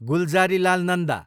Gulzarilal Nanda